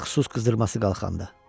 Ələlxüsus qızdırması qalxanda.